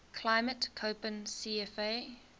climate koppen cfa